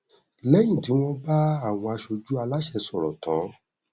lẹyìn tí wọn bá àwọn aṣojú aláṣẹ sọrọ tán